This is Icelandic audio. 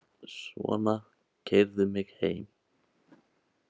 Svona, keyrðu mig heim.